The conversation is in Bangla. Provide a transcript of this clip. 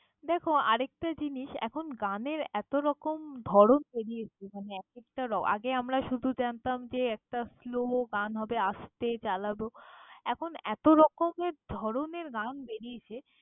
দ্যাখো, আর একটা জিনিস এখন গানের এতোরকম ধরণ বেরিয়েছে মানে এক একটা র~। আগে আমরা শুধু জানতাম যে একটা flow গান হবে, আস্তে চালাব। এখন এতরকমের ধরনের গান বেরিয়েছে।